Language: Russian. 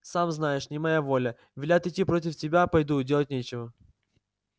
сам знаешь не моя воля велят идти против тебя пойду делать нечего